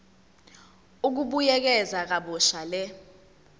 ukubuyekeza kabusha le